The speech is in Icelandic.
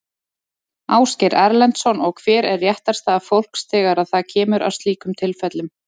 Ásgeir Erlendsson: Og hver er réttarstaða fólks þegar að það kemur að slíkum tilfellum?